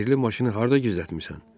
Sehrli maşını harda gizlətmisən?